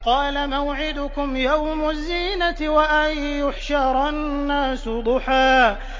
قَالَ مَوْعِدُكُمْ يَوْمُ الزِّينَةِ وَأَن يُحْشَرَ النَّاسُ ضُحًى